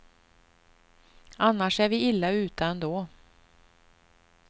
Annars är vi illa ute ändå.